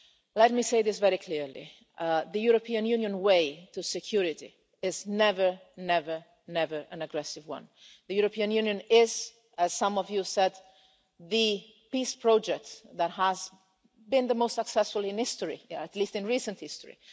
policy. Let me say this very clearly the European Union way to security is never, never, never an aggressive one. The European Union is, as some of you have said, the peace project that has been the most successful in history at least in recent